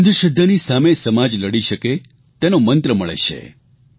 અંધશ્રદ્ધાની સામે સમાજ લડી શકે તેનો મંત્ર મળે છે